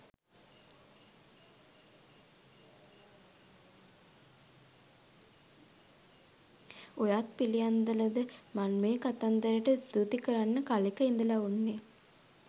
ඔයත් පිළියන්දලද මන් මේ කතන්දරට ස්තුති කරන්න කලෙක ඉඳල උන්නේ.